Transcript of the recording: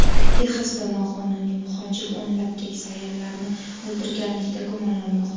Texasda noqonuniy muhojir o‘nlab keksa ayollarni o‘ldirganlikda gumonlanmoqda.